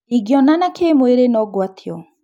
Ingĩonana kĩmwĩri nongwatio?